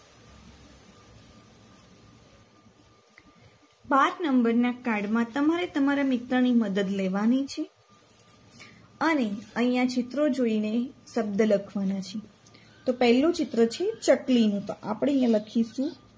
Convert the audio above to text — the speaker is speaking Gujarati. પાંચ નંબરના card માં તમારે તમારા મિત્રની મદદ લેવાની છે અને અહિયાં ચિત્રો જોઈને શબ્દ લખવાના છે તો પહેલું ચિત્ર છે ચકલીનું તો આપણે અહિયાં લખીશું